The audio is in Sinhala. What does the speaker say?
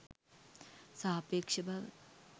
සාපේක්ෂ බව